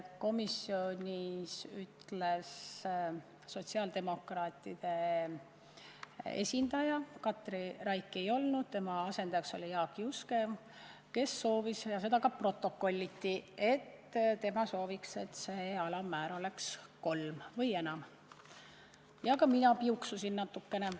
Komisjonis ütles sotsiaaldemokraatide esindaja ja see ka protokolliti, et tema sooviks, et see alammäär oleks kolm või enam alampalka, ja ka mina piuksusin natukene.